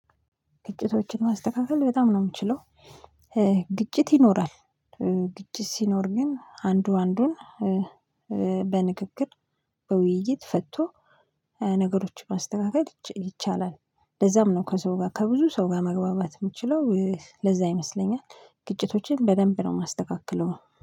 ግጭቶችን ማስተካከል በጣም ነው የምችለው። እእ ግጭት ይኖራል እእ ግጭት ሲኖር ግን አንዱ አንዱን እ እ በንግግር በውይይት ፈቶ እ ነገሮችን ማስተካከል ይቻላል። ለዛም ነው ከሰው ጋር ከብዙ ሰው ጋር መግባባት የምችለው እ ለዛ ይመስለኛል። ግጭቶችን በደንብ ነው የማስተካክለው